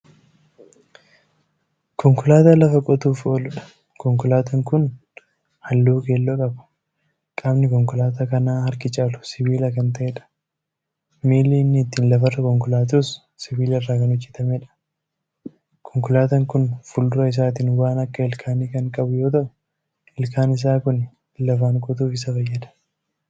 Konkolaataa lafa qotuuf ooluudha. konkolaataan Kuni halluu keelloo qaba. qaamni konkolaataa kanaa harki caalu sibiila Kan ta'eedha. miillii inni ittiin lafarra konkolaatus sibiilarraa Kan hojjatameedha. konkolaataan Kuni fuuldura isaatiin waan akka ilkaanii Kan qabu yoo ta'u ilkaan Isaa Kuni lafaan qotuuf Isa fayyada.